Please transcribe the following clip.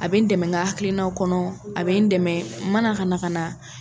A bɛ n dɛmɛ n ka hakilinaw kɔnɔ, a bɛ n dɛmɛ mana ka na na